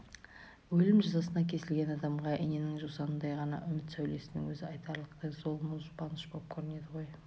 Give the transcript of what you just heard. өлім жазасына кесілген адамға иненің жасуындай ғана үміт сәулесінің өзі айтарлықтай зор мол жұбаныш боп көрінеді ғой